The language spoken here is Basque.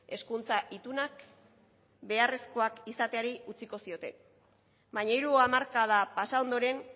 hezkuntza itunak beharrezkoak izateari utziko zioten baina hiru hamarkada pasa ondoren